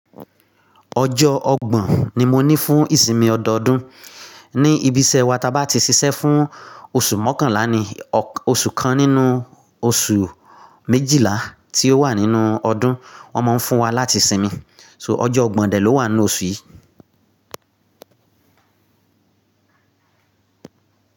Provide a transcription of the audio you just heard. Ọjọ́ ọgbọ̀n ni mo ní fún ìsinmi ọdọọdún. Ni ibi iṣẹ́ wa, ta bá ti ṣiṣẹ́ fún oṣù mọ́kànlá ni oṣù kan nínú oṣù méjìlá tí ó wà nínú ọdún, wọ́n máa ń fún wa láti sinmi. So ọjọ́ ọgbọ̀n dẹ̀ ló wà nínú oṣù yìí.